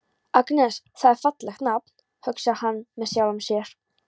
Agnes, það er fallegt nafn, hugsar hann með sjálfum sér.